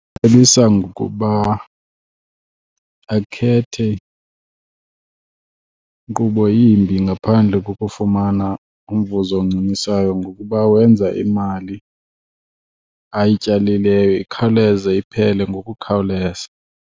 Cebisa ngokuba akhethe nkqubo yimbi ngaphandle kokufumana umvuzo oncumisayo ngokuba wenza imali ayityalileyo ikhawuleze iphele ngokukhawuleza.